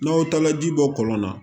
N'aw taala ji bɔ kɔlɔn na